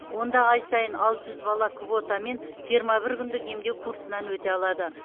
онда ай сайын алты жүз бала квотамен жиырма бір күндік емдеу курсынан өте алады